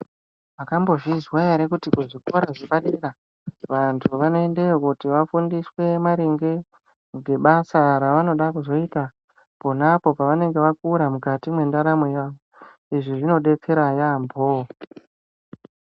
Makambo zvinzwa ere kuti ku zvikora zvepa dera vantu vano endayo kuti vafundiswe maringe nge basa ravanozoda kuita ponapo pavanenge vakura mukati me ndaramo yavo izvi zvino detsera yamho.